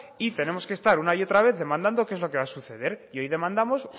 y tenemos que estar una y otra vez demandando qué es lo que va a suceder y hoy demandamos